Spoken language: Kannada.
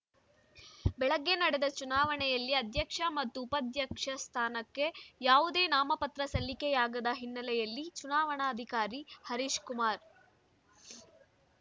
ಬೆಳಗ್ಗೆ ನಡೆದ ಚುನಾವಣೆಯಲ್ಲಿ ಅಧ್ಯಕ್ಷ ಮತ್ತು ಉಪಾಧ್ಯಕ್ಷ ಸ್ಥಾನಕ್ಕೆ ಯಾವುದೇ ನಾಮಪತ್ರ ಸಲ್ಲಿಕೆಯಾಗದ ಹಿನ್ನೆಲೆಯಲ್ಲಿ ಚುನಾವಣಾಧಿಕಾರಿ ಹರೀಶ್‌ಕುಮಾರ್‌